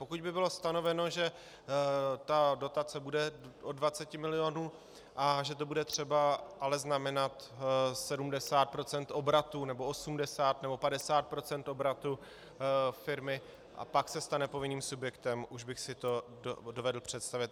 Pokud by bylo stanoveno, že ta dotace bude od 20 milionů a že to bude třeba ale znamenat 70 % obratu, nebo 80, nebo 50 % obratu firmy, a pak se stane povinným subjektem, už bych si to dovedl představit.